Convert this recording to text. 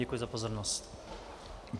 Děkuji za pozornost.